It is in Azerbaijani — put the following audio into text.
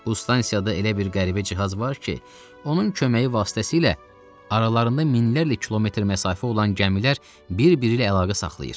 Bu stansiyada elə bir qəribə cihaz var ki, onun köməyi vasitəsilə aralarında minlərlə kilometr məsafə olan gəmilər bir-biri ilə əlaqə saxlayır.